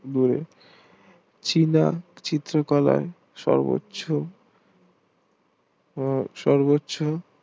চীনা চিত্রকলা সর্বোচ্চ ও সর্বোচ্চ